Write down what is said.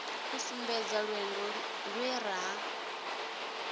u sumbedzisa lwendo lwe ra